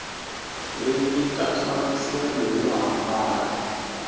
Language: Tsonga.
ri nyika nhlamuselo yo hambana